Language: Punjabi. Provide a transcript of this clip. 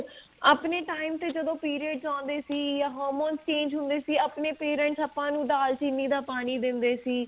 ਆਪਣੇ time ਤੇ ਜਦੋਂ periods ਆਉਂਦੇ ਸੀ ਜਾਂ Harmon's change ਹੁੰਦੇ ਸੀ ਆਪਣੇ parents ਆਪਾਂ ਨੂੰ ਦਾਲ ਚਿੰਨੀ ਦਾ ਪਾਣੀ ਦਿੰਦੇ ਸੀ